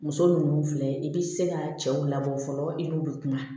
Muso ninnu filɛ i bɛ se ka cɛw labɔ fɔlɔ i n'u bɛ kuma